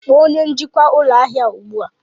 Kpọọ onye njikwa ụlọ ahịa a ugbu a!